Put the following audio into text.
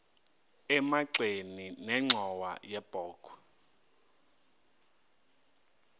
emagxeni nenxhowa yebokhwe